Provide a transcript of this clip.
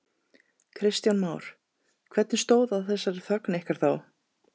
Kristján Már: Hvernig stóð á þessari þögn ykkar þá?